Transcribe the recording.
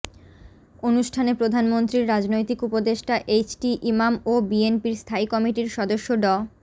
অনুষ্ঠানে প্রধানমন্ত্রীর রাজনৈতিক উপদেষ্টা এইচটি ইমাম ও বিএনপির স্থায়ী কমিটির সদস্য ড